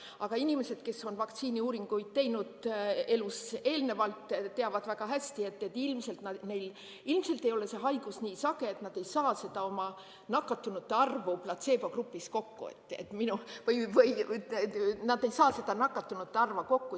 Aga inimesed, kes on vaktsiiniuuringuid elus eelnevalt teinud, teavad väga hästi, et ilmselt neil ei ole see haigus nii sage, et nad ei saa seda nakatunute arvu platseebogrupis kokku või nad ei saa seda nakatunute arvu kokku.